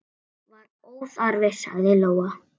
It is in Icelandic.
Það er óþarfi, sagði Lóa.